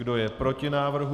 Kdo je proti návrhu?